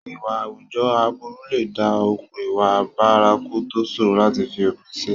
Ìwà àwùjọ aburú lè dá okùn ìwà bárakú tó ṣòro láti fi òpin sí.